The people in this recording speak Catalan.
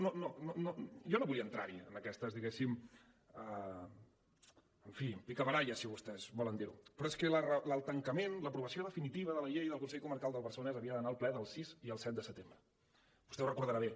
no jo no volia entrar hi en aquestes diguéssim picabaralles en fi si vostès volen dir ne però és que el tancament l’aprovació definitiva de la llei del consell comarcal del barcelonès havia d’anar al ple del sis i el set de setembre vostè ho deu recordar bé